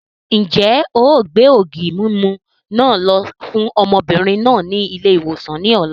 Ń jẹ́ ó gbé ògì mímú náà lọ fún ọmọbìnrin náà ni ilé-ìwòsàn ni ọ̀la